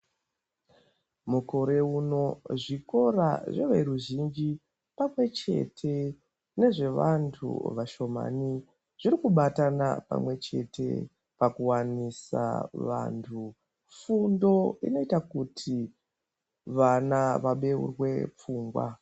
Mazuwaano zvikora zveveruzhimji nezvevashomani zviri kubatana pakuwanisa vanhu fundo inoita kuti vana vebeurwe pfungwa.